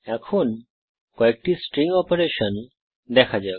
এখন কয়েকটি string operation দেখা যাক